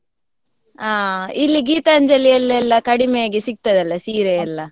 ಆ ಇಲ್ಲಿ Geethanjali ಯಲ್ಲೆಲ್ಲ ಕಡಿಮೆಯಾಗಿ ಸಿಗ್ತದಲ್ಲ ಸೀರೆಯೆಲ್ಲಾ.